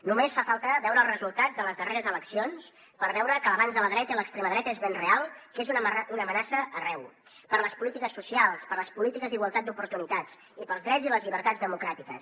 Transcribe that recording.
només fa falta veure els resultats de les darreres eleccions per veure que l’avanç de la dreta i l’extrema dreta és ben real que és una amenaça arreu per a les polítiques socials per a les polítiques d’igualtat d’oportunitats i per als drets i les llibertats democràtiques